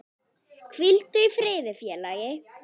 Hvíldu í friði félagi.